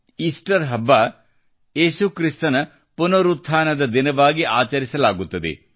Easter ಹಬ್ಬವನ್ನು ಯೇಸು ಕ್ರಿಸ್ತನ ಪುನರುತ್ಥಾನದ ದಿನವಾಗಿ ಆಚರಿಸಲಾಗುತ್ತದೆ